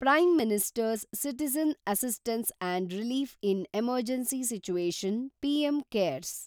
prime minister's citizen assistance and relief in emergency situation (PM CARES)